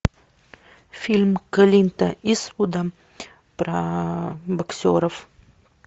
фильм клинта иствуда про боксеров